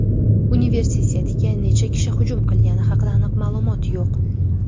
Universitetga necha kishi hujum qilgani haqida aniq ma’lumot yo‘q.